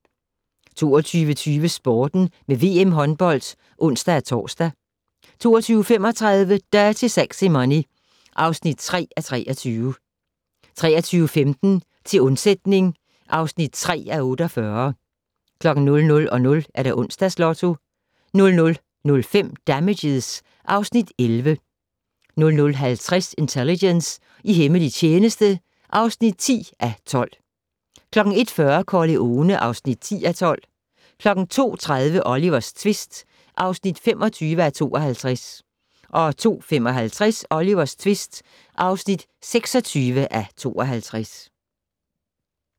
22:20: Sporten med VM håndbold (ons-tor) 22:35: Dirty Sexy Money (3:23) 23:15: Til undsætning (3:48) 00:00: Onsdags Lotto 00:05: Damages (Afs. 11) 00:50: Intelligence - i hemmelig tjeneste (10:12) 01:40: Corleone (10:12) 02:30: Olivers tvist (25:52) 02:55: Olivers tvist (26:52)